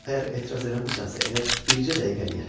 Əgər etiraz eləmirsənsə, elə bircə dəqiqəliyə.